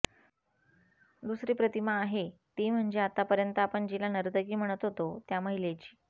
दुसरी प्रतिमा आहे ती म्हणजे आत्तापर्यंत आपण जिला नर्तकी म्हणत आलो त्या महिलेची